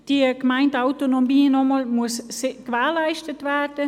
Noch einmal: Die Gemeindeautonomie muss gewährleistet werden.